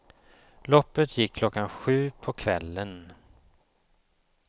Loppet gick klockan sju på kvällen.